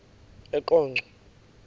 eqonco